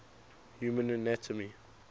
human anatomy